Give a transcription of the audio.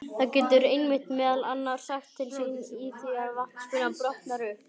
Það getur einmitt meðal annars sagt til sín í því að vatnsbuna brotnar upp.